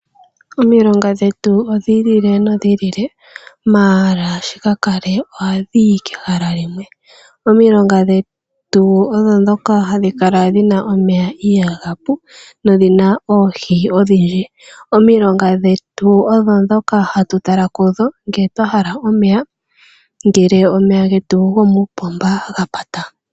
Omilonga dhetu odhi ilile nodhi ilile, ashike shi ka kale ohadhi yi kehala lyimwe. Omilonga dhetu odho ndhoka hadhi dhi na omeya ihaga pu no dhi na oohi odhindji. Omilonga dhetu odho dhoka hatu tala kudho nge twa hala omeya, ngele omeya getu gokoopomba ga pata.